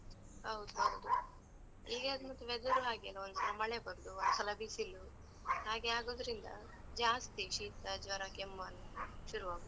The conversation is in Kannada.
ಹೌದೌದು, ಈಗ ಮತ್ತ್ weather ರೂ ಹಾಗೆ ಅಲಾ, ಒಂದ್ ಸಲ ಮಳೆ ಬರುದು, ಒಂದ್ ಸಲ ಬಿಸಿಲು, ಹಾಗೆ ಆಗುದ್ರಿಂದ ಜಾಸ್ತಿ ಶೀತ, ಜ್ವರ, ಕೆಮ್ಮು ಅಂತ ಶುರು ಆಗುದು.